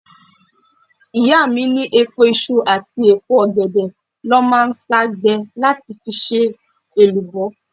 Màmá mi ní èpo iṣu àti èpo ọ̀gẹ̀dẹ̀ ló máa ń sá gbẹ láti fi ṣe èlùbọ́.